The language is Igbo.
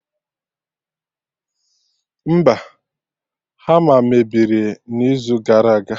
Mba, ha a mebiri n'izu gara aga